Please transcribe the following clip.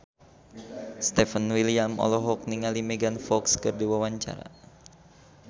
Stefan William olohok ningali Megan Fox keur diwawancara